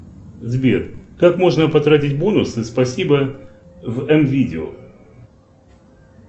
сбер как можно потратить бонусы спасибо в м видео